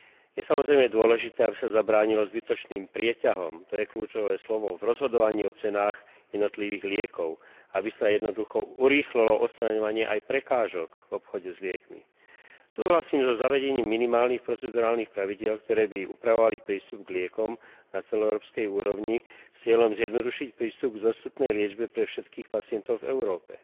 Je, samozrejme, dôležité, aby sa zabránilo zbytočným prieťahom, to je kľúčové slovo v rozhodovaní o cenách jednotlivých liekov, aby sa jednoducho urýchlilo odstraňovanie aj prekážok v obchode s liekmi. Súhlasím so zavedením minimálnych procedurálnych pravidiel, ktoré by upravovali prístup k liekom na celoeurópskej úrovni, s cieľom zjednodušiť prístup k vzostupnej liečbe pre všetkých pacientov v Európe.